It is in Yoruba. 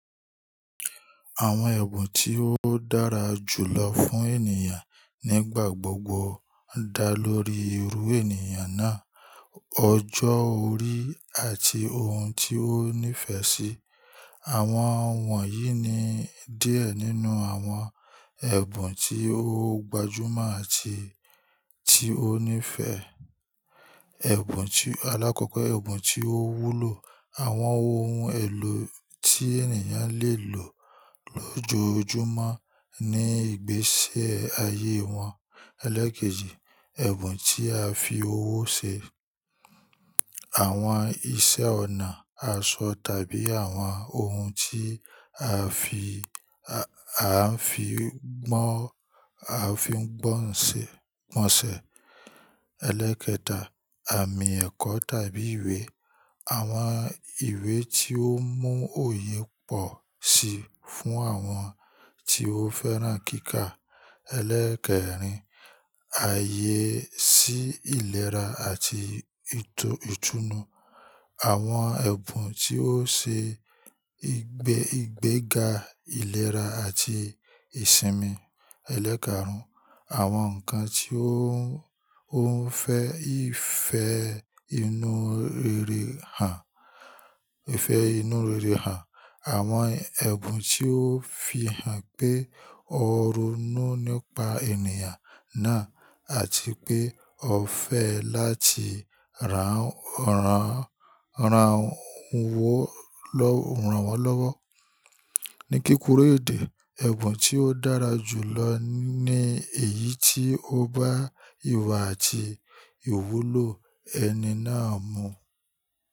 Àwọn ẹ̀bùn tí ó dára jù lọ fún ènìyàn nígbà gbogbo dá lórí irú ènìyàn náà, ọjọ́ orí àti ohun tí ó nífẹ̀ẹ́ sí. Àwọn wọ̀nyí ni díẹ̀ nínú àwọn ẹ̀bùn tí ó gbajúmọ̀ àti tí ó nífẹ̀ẹ́: ẹ̀bùn tí-- alákọ̀ọ́kẹ̀, ẹ̀bùn tí ó wúlò, àwọn ohun èlò tí ènìyàn le lò lójoojúmọ́ ní ìgbésẹ ayé wọn. Elékèjì, ẹ̀bùn tí a fi owó ṣe, àwọn iṣẹ́-ọnà, aṣọ tàbí àwọn ohun tí a ń fi, a ń fi gbọ́n, a ń fi gbọ́n ṣẹ, gbọ̀nṣẹ̀. Elékẹta, àmì ẹ̀kọ́ tàbí ìwé, àwọn ìwé tí ó mú òye pọ̀ síi fún àwọn tí ó fẹ́ràn kíkà. Eléẹ̀kẹrin, ààyè sí ìlera àti ìtú, ìtùnú, àwọn ẹ̀bùn tí ó ṣe ìgbè, ìgbéga ìlera àti ìsinmi. Elékàrùn, àwọn nǹkan tí ó ń, ó ń fẹ́ ìfẹ́ inú rere hàn, ìfẹ́ inú rere hàn, àwọn ẹ̀bùn tí ó fi hàn pé ó ronú nípa ènìyàn náà àti pé ó fẹ́ láti ràn, ràn, ràn wó lọ́, ràn wọ́n lọ́wọ́. Ní kíkúrò ní èdè, ẹ̀bùn tí ó dára jù lọ ní èyí tí ó bá ìwà àti ìwúlò ẹni náà mu.